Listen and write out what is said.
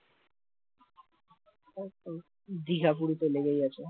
দিঘা পুরিতো লেগেই আছে